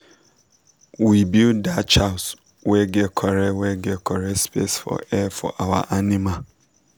we build thach house wey get corret wey get corret space for air for our animal